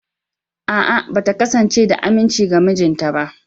A’a, ba ta kasance da aminci ga mijinta ba.